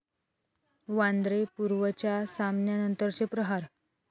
वांद्रे पूर्वच्या सामन्यानंतरचे 'प्रहार'